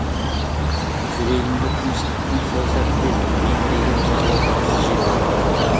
жүрегімді тыныштықтың сол сәтте еңіреген зарлы даусы жеп тұрды